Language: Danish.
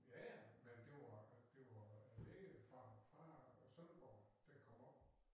Ja ja men det var det var en læge fra fra Sønderborg der kom op